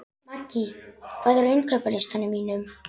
Maggý, hvað er á innkaupalistanum mínum?